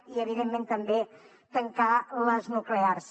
i evidentment també tancar les nuclears